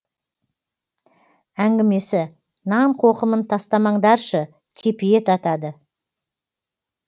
әңгімесі нан қоқымын тастамаңдаршы кепиет атады